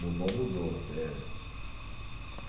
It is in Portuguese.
Mudou, mudou, que é